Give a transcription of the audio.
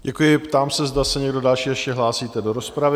Děkuji, ptám se, zda se někdo další ještě hlásíte do rozpravy?